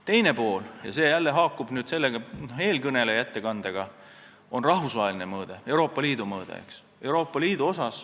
Teine pool – see jälle haakub eelkõneleja ettekandega – on rahvusvaheline mõõde, Euroopa Liidu mõõde.